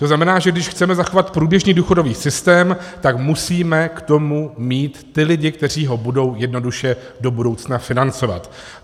To znamená, že když chceme zachovat průběžný důchodový systém, tak musíme k tomu mít ty lidi, kteří ho budou jednoduše do budoucna financovat.